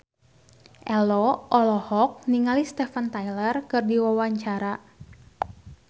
Ello olohok ningali Steven Tyler keur diwawancara